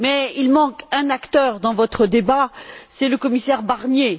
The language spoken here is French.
Il manque néanmoins un acteur dans votre débat, c'est le commissaire Barnier.